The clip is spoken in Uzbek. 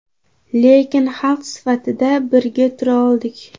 Lekin xalq sifatida birga tura oldik.